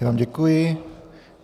Já vám děkuji.